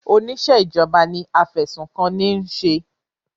Oníṣẹ́ ìjọba ni afẹ̀sùnkanni ń ṣe.